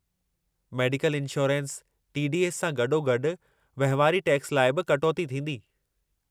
Medical insurance, T. D. S. सां गॾोगॾु वहिंवारी टैक्स लाइ बि कटौती थींदी।